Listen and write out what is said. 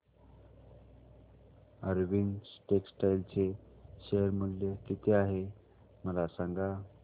Arvind textile चे share मूल्य किती आहे मला सांगा